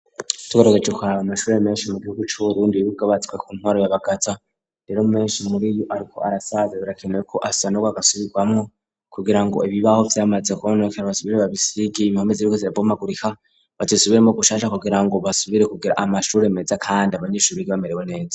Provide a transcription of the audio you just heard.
Tugerageje kuraba mashuri meshi mu gihugu cu Burundi yubatswe ku ntwaro ya Bagaza rero meshi muriyo ariko arasaza birakenewe ko asanagurwa agasubirwamwo kugirango ibibaho vyamaze kononekara basubire babisige impome ziriko zirabomagurika bzisubiremwo gushasha kugirango basubire kugira amashure meza kandi abanyeshuri bamerewe neza.